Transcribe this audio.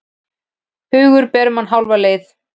Hugurinn ber mann hálfa leið.